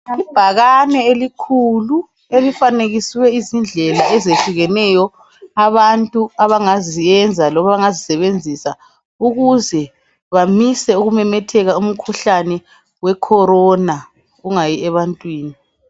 Ibhakane elikhulu elifanekiswe izindlela ezehlukeneyo abantu abangaziyenza loma abangazisebenzisa ukuze bamise ukumemetheka umkhuhlane we Corona ungayi ebantwini.